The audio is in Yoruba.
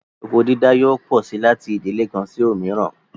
Oko dídá yóò pọ sí láti ìdílè kan sí òmíràn